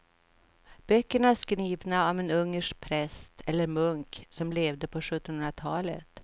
Böckerna är skrivna av en ungersk präst eller munk som levde på sjuttonhundratalet.